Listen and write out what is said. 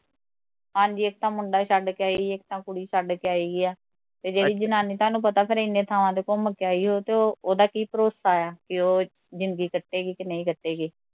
ਹਾਂਜੀ ਇੱਕ ਥਾਂ ਮੁੰਡਾ ਵੀ ਛੱਡ ਕੇ ਆਈ, ਇੱਕ ਥਾਂ ਕੁੜੀ ਛੱਡ ਕੇ ਆਈ ਆ ਤੇ ਜਿਹੜੀ ਜਨਾਨੀ ਤੁਹਾਨੂੰ ਪਤਾ ਫਿਰ ਏਨੇ ਥਾਵਾਂ ਤੇ ਘੁਮ ਕੇ ਆਈ ਹੋਊ ਤੇ ਉਹਦਾ ਕੀ ਭਰੋਸਾ ਐ ਵੀ ਉਹ ਜ਼ਿੰਦਗੀ ਕੱਟੇਗੀ ਕਿ ਨਹੀਂ ਕੱਟੇਗੀ